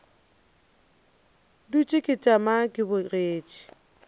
dutše ke tšama ke bogetše